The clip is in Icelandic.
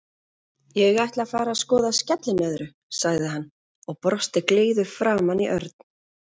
Ég ætla að fara að skoða skellinöðru, sagði hann og brosti gleiður framan í Örn.